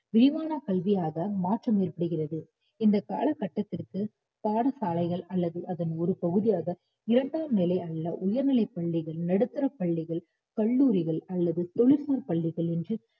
விரிவான கல்வியாக மாற்றம் ஏற்படுகிறது இந்த காலகட்டத்திற்கு பாடசாலைகள் அல்லது அதன் ஒரு பகுதியாக இரண்டாம் நிலை உள்ள உயர்நிலைப் பள்ளிகள், நடுத்தரப் பள்ளிகள், கல்லூரிகள் அல்லது தொழில்நுட்ப பள்ளிகள் என்று